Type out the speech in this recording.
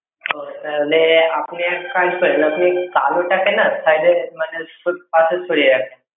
তো তাহলে আপনি এক কাজ করেন, কালো টাকে না side এ মানে পাশে সরিয়ে রাখেন।